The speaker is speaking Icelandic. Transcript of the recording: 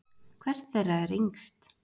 Hvert þeirra er yngst?